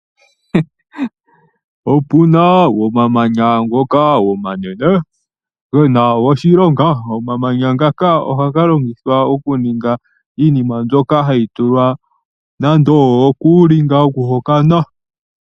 Opuna omamanya ngoka omanene gena oshilonga, omamanya ngaka ohaga longithwa okuninga iinima mbyoka hayi tulwa nando okuulinga woku hokana.